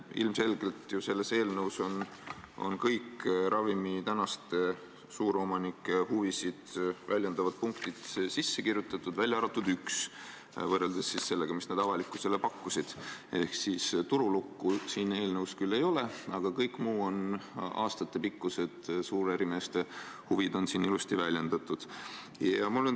Ilmselgelt on sellesse eelnõusse sisse kirjutatud kõik tänaste suuromanike huve väljendavad punktid, välja arvatud üks võrreldes sellega, mida nad avalikkusele pakkusid – ehk turulukku siin eelnõus küll ei ole, aga kõik muud suurärimeeste aastatepikkused huvid on siin ilusti väljendatud.